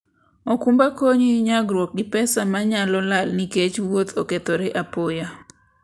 okumba konyi nyagruok gi pesa ma nyalo lal nikech wuoth okethore apoya.